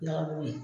Nɔnɔmugu ye